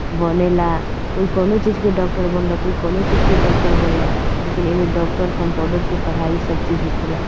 बनेला कोई कौनो चीज़ के डॉक्टर बनलख कोई कौनो चीज़ के डॉक्टर बनलख लेकिन एमे डॉक्टर कम्पाउण्डर के पढ़ाई सब चीज़ हो खेला।